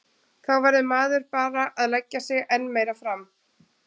Þá verður maður bara að leggja sig enn meira fram.